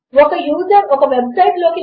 మీరు అక్కడకు వెళ్ళారో లేదో మేము చెక్ చేస్తాము